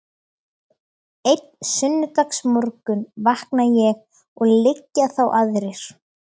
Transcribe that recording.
Einn sunnudagsmorgun vakna ég og liggja þá aðrir